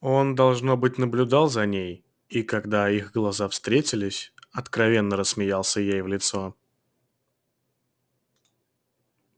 он должно быть наблюдал за ней и когда их глаза встретились откровенно рассмеялся ей в лицо